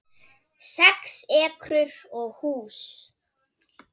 Sex ekrur og hús